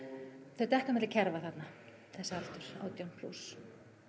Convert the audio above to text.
þau detta á milli kerfa þarna þessi aldur átján plús